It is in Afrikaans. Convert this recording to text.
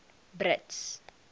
brits